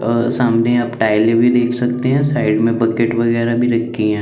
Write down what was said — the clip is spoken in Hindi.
अ सामने आप टाइले भी देख सकते है साइड में बकेट वगेरा भी रखी है--